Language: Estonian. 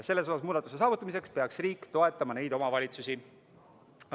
Selles osas muudatuse saavutamiseks peaks riik neid omavalitsusi toetama.